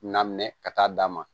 Na minɛ ka taa d'a ma